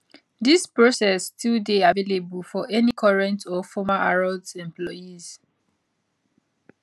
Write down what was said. dis process still dey available for any current or former harrods employees